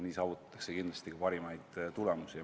Nii saavutatakse kindlasti ka paremaid tulemusi.